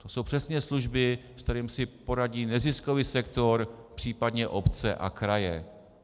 To jsou přesně služby, s kterými si poradí neziskový sektor, případně obce a kraje.